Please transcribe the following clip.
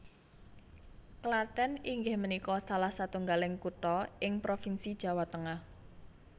Klathèn inggih menikå salah satunggaling kuthå ing provinsi Jawa Tengah